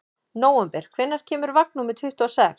Nóvember, hvenær kemur vagn númer tuttugu og sex?